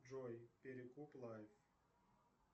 джой перекуп лайв